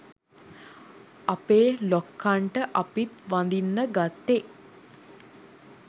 අපේ ලොක්කන්ට අපිත් වදින්න ගත්තෙ